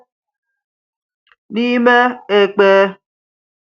N’ìmé ekpé